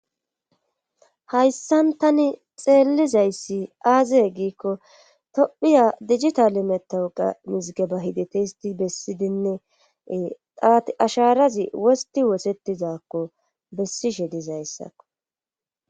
hayssan tani xeelizayssi aaziye giikko tophiya dijita metawuqa mizige ba hidete histi bessidinne taati asharazi wosti wosetizakko bessishe dizayssakko